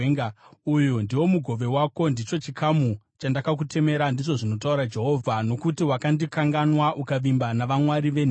Uyu ndiwo mugove wako, ndicho chikamu chandakakutemera,” ndizvo zvinotaura Jehovha, “nokuti wakandikanganwa ukavimba navamwari venhema.